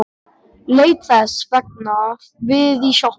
Leit þess vegna við í sjoppunni.